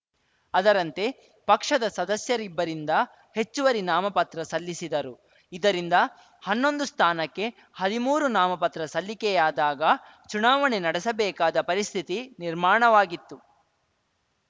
ಅದರಂತೆ ಪಕ್ಷದ ಸದಸ್ಯರಿಬ್ಬರಿಂದ ಹೆಚ್ಚುವರಿ ನಾಮಪತ್ರ ಸಲ್ಲಿಸಿದರು ಇದರಿಂದ ಹನ್ನೊಂದು ಸ್ಥಾನಕ್ಕೆ ಹದಿಮೂರು ನಾಮಪತ್ರ ಸಲ್ಲಿಕೆಯಾದಾಗ ಚುನಾವಣೆ ನಡೆಸಬೇಕಾದ ಪರಿಸ್ಥಿತಿ ನಿರ್ಮಾಣವಾಗಿತ್ತು